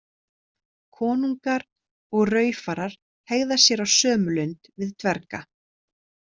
Konungar og raufarar hegða sér á sömu lund við dverga.